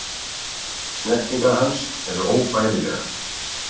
Snertingar hans eru óbærilegar.